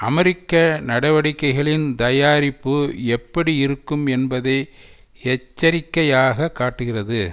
அமெரிக்க நடவடிக்கைகளின் தயாரிப்பு எப்படி இருக்கும் என்பதை எச்சரிக்கையாக காட்டுகிறது